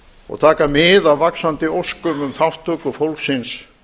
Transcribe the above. og taka mið af vaxandi óskum um þátttöku fólksins